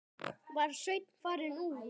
Var Sveinn farinn út?